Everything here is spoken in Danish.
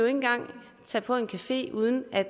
engang tage på en café uden at